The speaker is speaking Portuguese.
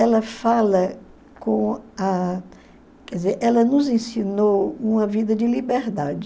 Ela fala com a... Quer dizer, ela nos ensinou uma vida de liberdade.